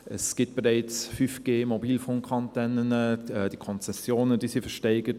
Es gibt bereits 5G-Antennen, die Konzessionen wurden versteigert;